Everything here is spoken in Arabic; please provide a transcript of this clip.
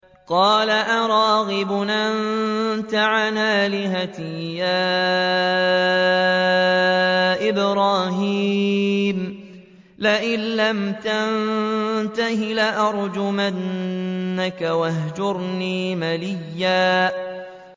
قَالَ أَرَاغِبٌ أَنتَ عَنْ آلِهَتِي يَا إِبْرَاهِيمُ ۖ لَئِن لَّمْ تَنتَهِ لَأَرْجُمَنَّكَ ۖ وَاهْجُرْنِي مَلِيًّا